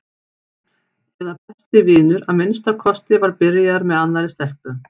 eða besti vinur að minnsta kosti var byrjaður með annarri stelpu.